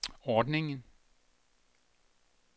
ordningen